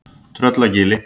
Tröllagili